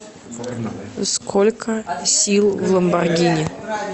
сколько сил в ламборгини